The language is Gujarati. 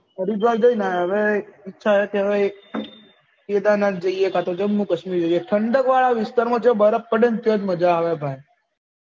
હરિદ્વાર જઈ ને આયા હવે હવે ઈચ્છા છે હવે કેદારનાથ જયીયે કાતો જમ્મુ કાશ્મીર ઠંડક વાળા વિસ્તાર માં જઈ બરફ પડે ને ત્યાજ મજા આવે ભાઈ